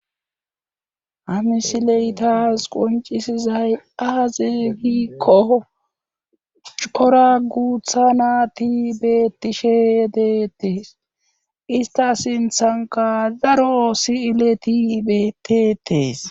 hamisiley taas qoncisizay aaze giikko cora guutha nat bettishee deettis ista sinthanka zaro si7ilet betetees